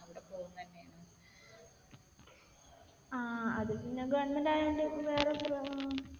ആഹ് അത് പിന്നെ government ആയത് കൊണ്ട് വേറെ .